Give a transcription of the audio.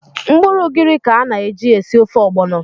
Mkpụrụ ugiri ka a na-eji esi ofe ọgbọnọ.